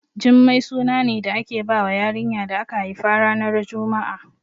Jummai suna ne da ake bawa yarinya da aka haifa ranar juma'a